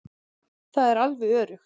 Það er alveg öruggt.